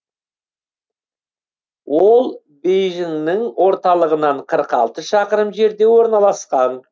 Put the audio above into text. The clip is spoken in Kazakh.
ол бейжіңнің орталығынан қырық алты шақырым жерде орналасқан